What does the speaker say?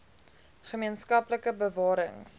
gemeen skaplike bewarings